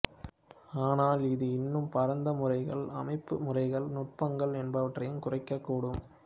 ஆனால் இது இன்னும் பரந்த முறைமைகள் அமைப்பு முறைகள் நுட்பங்கள் என்பவற்றையும் குறிக்கக்கூடும்